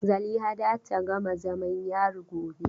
Zaliha za ta gama zamam yari gobe.